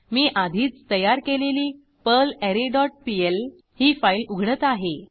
मी आधीच तयार केलेली पर्लरे डॉट पीएल ही फाईल उघडत आहे